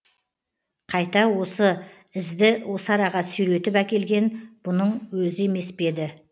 қайта осы ізді осы араға сүйретіп әкелген бұның өзі емес пе еді